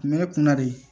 Kun bɛ ne kun na de